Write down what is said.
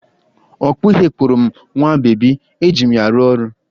Ọkpụ ihe kpụrụ m nwa bebi, eji m ya arụ ọrụ